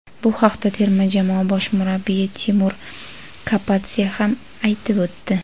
Bu haqda terma jamoa bosh murabbiyi Timur Kapadze ham aytib o‘tdi.